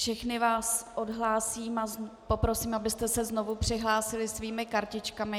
Všechny vás odhlásím a poprosím, abyste se znovu přihlásili svými kartičkami.